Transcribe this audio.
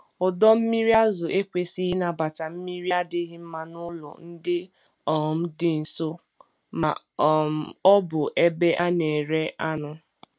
Ọdọ mmiri azụ ekwesighi ịnabata mmiri adịghị mma n'ụlọ ndị um dị nso ma um ọ bụ ebe a na-ere anụ.